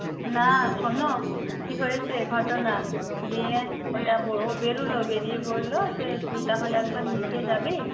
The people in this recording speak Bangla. না শোন কী হয়েছে ঘটনা দিয়ে বেরোল বেরিয়ে বলল তুই তাহলে একবার নীচে যাবি